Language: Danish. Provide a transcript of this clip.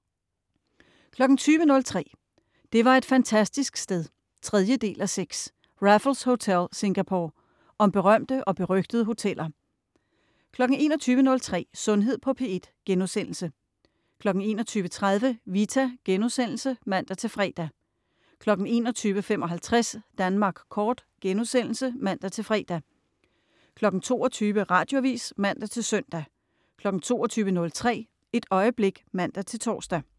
20.03 Det var et fantastisk sted 3:6. Raffles Hotel, Singapore. Om berømte og berygtede hoteller 21.03 Sundhed på P1* 21.30 Vita* (man-fre) 21.55 Danmark kort* (man-fre) 22.00 Radioavis (man-søn) 22.03 Et øjeblik (man-tors)